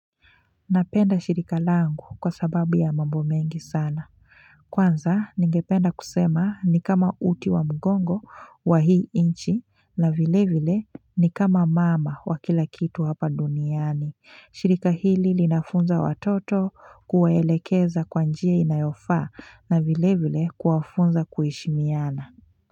Napenda shirika langu kwa sababu ya mambo mengi sana Kwanza ningependa kusema ni kama uti wa mgongo wa hii inchi na vile vile ni kama mama wa kila kitu hapa duniani shirika hili linafunza watoto kuwelekeza kwa njia inayofa na vile vile kuwafunza kuishimiana.